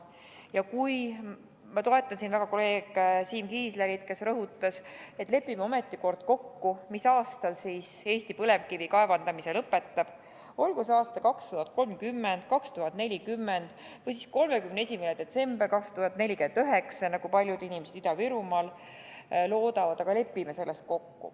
Ja ma toetan väga kolleeg Siim Kiislerit, kes rõhutas, et lepime ometi kord kokku, mis aastal Eesti põlevkivi kaevandamise lõpetab – olgu see aastal 2030, 2040 või siis 31. detsember 2049, nagu paljud inimesed Ida-Virumaal loodavad, aga lepime selles kokku.